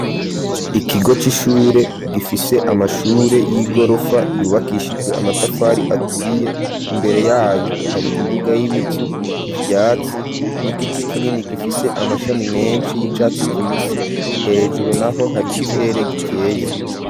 Ikigo c'ishure gifise amashure y'igorofa yubakishijwe amatafari aturiye, imbere yayo hari imbuga y'ibivu ,ivyatsi n'igiti kinini gifise amashami menshi y'icatsi kibisi hejuru naho hari ikirere gikeye.